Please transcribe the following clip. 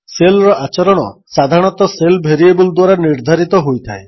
ଶେଲ୍ର ଆଚରଣ ସାଧାରଣତଃ shell variable ଦ୍ୱାରା ନିର୍ଦ୍ଧାରିତ ହୋଇଥାଏ